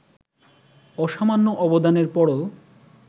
অসামান্য অবদানের পরও